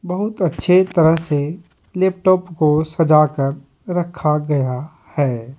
बहुत अच्छे तरह से लैपटॉप को सजा कर रखा गया है।